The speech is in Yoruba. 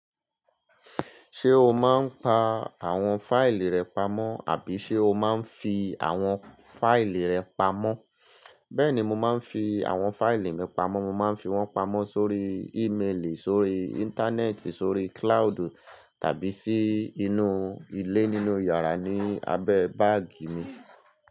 Ṣé o máa ń pa àwọn fáìlì rẹ pamọ́ àbí ṣe o máa ń fi àwọn fáìlì rẹ pamọ́? Bẹ́ẹ̀ni, mo máa ń fi àwọn fáìlì mi pamọ́. Mo máa ń fi wọ́n pamọ́ sórí ì mélì, sórí Íńtánẹ́ẹ̀tì, sórí kíláàdù tàbí sí inú ilé nínú yàrá ní abẹ́ báàgì mi.